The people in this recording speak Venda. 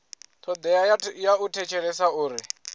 thodea ya u thetshelesa uri